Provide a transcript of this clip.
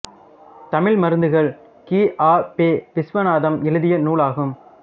தமிழ் மருந்துகள் கி ஆ பெ விசுவநாதம் எழுதிய நூலாகும்